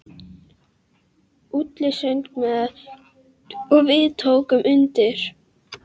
Úlli söng með og við tókum undir.